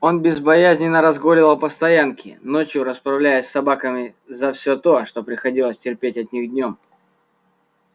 он безбоязненно разгуливал по стоянке ночью расправляясь с собаками за все то что приходилось терпеть от них днём